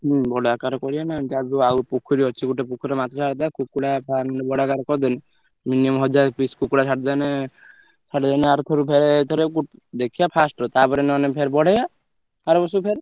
ହୁଁ ବଡ ଆକାରରେ କରିଆ ନା ଯାହା ବି ହଉ ଆଉ ପୋଖରୀ ଅଛି ଗୋଟେ ପୋଖରୀରେ ମାଛ ଛାଡିଦବା କୁକୁଡ଼ା farm ଗୋଟେ ବଡ ଆକାରରେ କରିଦେଲେ minimum ହଜାରେ piece କୁକୁଡ଼ା ଛାଡିଦେନେ ଛାଡିଦେନେ ଆରଥରକୁ ଫେରେ ଏଇଥରେ ଦେଖିବା first ର ତାପରେ ନହେନେ ବଢେଇବା ଆରବର୍ଷକୁ ଫେରେ।